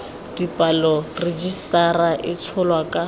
dipalo rejisetara e tsholwa ka